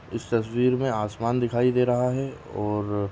इस तस्वीर मे आसमान दिखाई दे रहा है और --